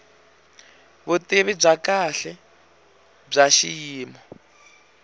vutivi bya kahle bya xiyimo